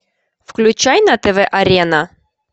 включай на тв арена